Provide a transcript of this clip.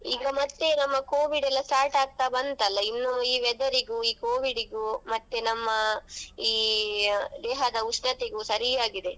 ಈಗ ಮತ್ತೇ ನಮ್ಮ Covid ಯೆಲ್ಲಾ start ಆಗ್ತಾ ಬಂತಲ್ಲಾ ಇನ್ನು ಈ weather ಗೂ Covid ಗೂ ಮತ್ತೆ ನಮ್ಮ ಈ ದೇಹದ ಉಷ್ಣತೆಗೂ ಸರಿಯಾಗಿದೆ.